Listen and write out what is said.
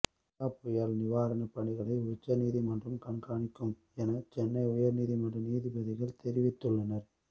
கஜா புயல் நிவாரணப் பணிகளை உயர்நீதிமன்றம் கண்காணிக்கும் என சென்னை உயர்நீதிமன்ற நீதிபதிகள் தெரிவித்துள்ளனர்